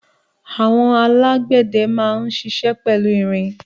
Àwọn alágbẹ̀dẹ máa ń ṣiṣẹ́ pẹ̀lú irin.